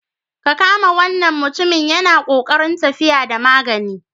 Ka kama wannan mutumin yana ƙoƙarin tafiya da magani.